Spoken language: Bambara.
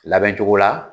Labɛn cogo la